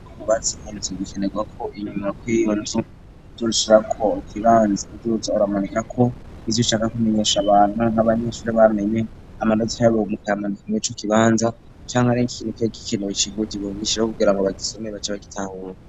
Iyo wubatse inzu birakenerwako inyuma kw'iyo uzosigazako ikibanza ,uzoza uramanikako ibintu ivyo ushaka kuza uramenyesha abantu canke amanota y'abanyeshure canke ari ikintu kiba gikenewe kugirango bace bagitahura.